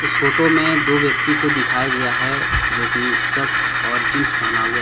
photo में दो व्यक्ति को दिखाया गया है जो की शर्ट और जींस पहना हुआ--